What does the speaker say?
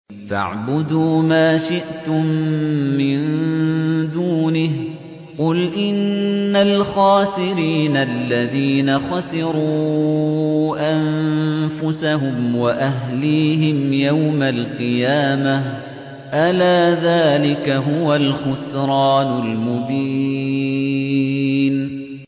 فَاعْبُدُوا مَا شِئْتُم مِّن دُونِهِ ۗ قُلْ إِنَّ الْخَاسِرِينَ الَّذِينَ خَسِرُوا أَنفُسَهُمْ وَأَهْلِيهِمْ يَوْمَ الْقِيَامَةِ ۗ أَلَا ذَٰلِكَ هُوَ الْخُسْرَانُ الْمُبِينُ